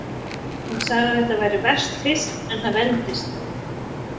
Hún sagði að þetta væri verst fyrst en það vendist.